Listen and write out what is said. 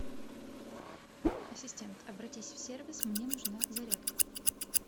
ассистент обратись в сервис мне нужна зарядка